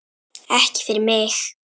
Ekki fyrir mig!